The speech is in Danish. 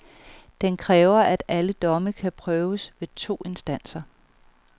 Den kræver, at alle domme kan prøves ved to instanser.